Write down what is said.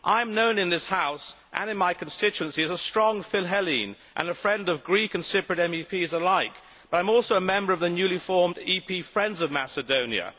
I am known in this House and in my constituency as a strong philhellene and a friend of Greek and Cypriot MEPs alike, but I am also a member of the newly formed EP Friends of Macedonia.